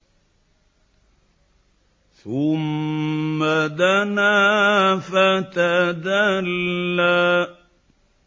ثُمَّ دَنَا فَتَدَلَّىٰ